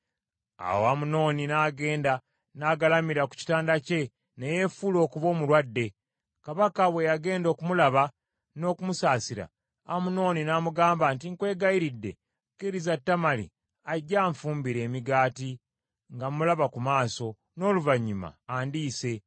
Awo Amunoni n’agenda n’agalamira ku kitanda kye ne yeefuula okuba omulwadde; kabaka bwe yagenda okumulaba n’okumusaasira, Amunoni n’amugamba nti, “Nkwegayiridde, kkiriza Tamali ajje anfumbire emigaati nga mulaba ku maaso, n’oluvannyuma andiise.”